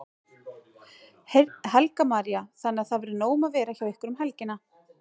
Helga María: Þannig að það verður nóg um að vera hjá ykkur um helgina?